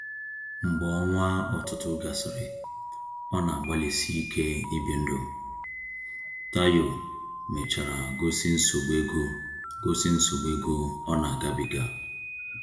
Mgbe ọnwa ọtụtụ gasịrị ọ na-agbalịsi ike ibi ndụ, Tayo mechara gosi nsogbu ego gosi nsogbu ego ọ na-agabiga.